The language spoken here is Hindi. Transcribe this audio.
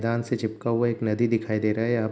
मैदान से चिपका हुआ एक नदी दिखाई दे रहा हैं यहाँ |